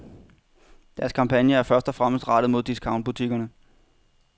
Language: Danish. Deres kampagne er først og fremmest rettet mod discountbutikkerne.